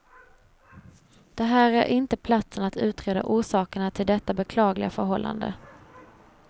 Det här är inte platsen att utreda orsakerna till detta beklagliga förhållande.